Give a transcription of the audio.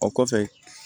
O kɔfɛ